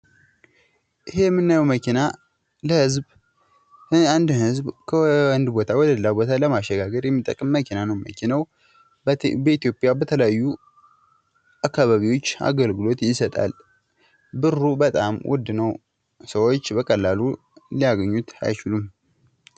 ይሄ የምናየው መኪና ለህዝብ አንድን ህዝብ ከአንድ ቦታ ወደሌላ ቦታ ለማሸጋገር የሚጠቅም መኪና ነው። መኪናው በኢትዮጵያ በተለያዩ አካባቢዎች አገልግሎት ይሰጣል። ብሩ በጣም ውድ ነው ። ሰዎች በቀላሉ ሊያገኙት አይችሉም ።